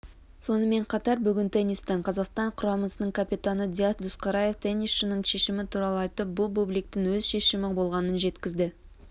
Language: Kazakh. сонымен қатар бүгін теннистен қазақстан құрамасының капитаны диас досқараев теннисшінің шешімі туралы айтып бұл бубликтің өз шешімі болғанын жеткізді